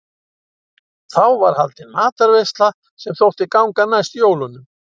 Þá var haldin matarveisla sem þótti ganga næst jólunum.